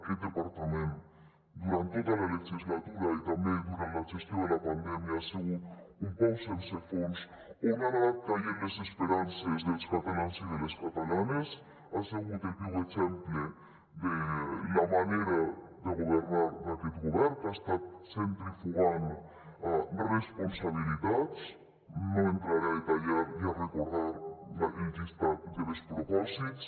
aquest departament durant tota la legislatura i també durant la gestió de la pandèmia ha sigut un pou sense fons on han anat caient les esperances dels catalans i de les catalanes ha sigut el viu exemple de la manera de governar d’aquest govern que ha estat centrifugant responsabilitats no entraré a detallar ni a recordar el llistat de despropòsits